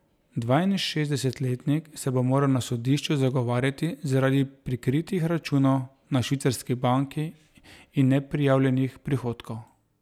Dvainšestdesetletnik se bo moral na sodišču zagovarjati zaradi prikritih računov na švicarski banki in neprijavljenih prihodkov.